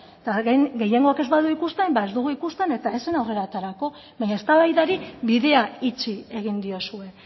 eta gehiengoak ez badu ikusten ba ez dugu ikusten eta ez zen aurrera aterako baina eztabaidari bidea itxi egin diozue